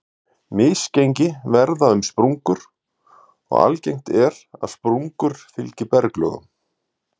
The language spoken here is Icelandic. Misgengi verða um sprungur, og algengt er að sprungur fylgi berggöngum.